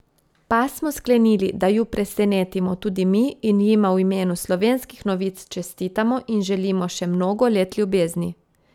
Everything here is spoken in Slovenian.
Pa smo sklenili, da ju presenetimo tudi mi, in jima v imenu Slovenskih novic čestitamo in želimo še mnogo let ljubezni.